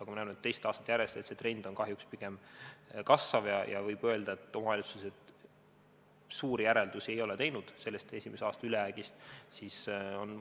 Aga ma näen, et teisel aastal on see trend kahjuks pigem kasvav, ja võib öelda, et omavalitsused suuri järeldusi ei ole esimese aasta ülejäägist teinud.